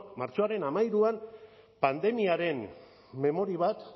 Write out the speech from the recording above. martxoaren hamairuan pandemiaren memoria bat